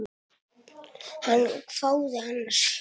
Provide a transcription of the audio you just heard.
Hann hváði annars hugar.